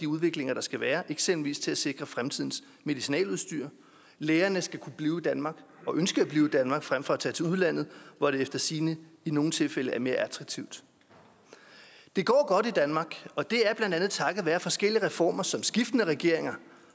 udviklinger der skal være eksempelvis til at sikre fremtidens medicinaludstyr lægerne skal kunne blive i danmark og ønske at blive i danmark frem for at tage til udlandet hvor det efter sigende i nogle tilfælde er mere attraktivt det går godt i danmark og det er blandt andet takket være forskellige reformer som skiftende regeringer